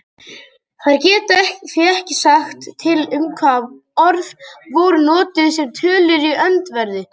Þær geta því ekki sagt til um hvaða orð voru notuð um tölur í öndverðu.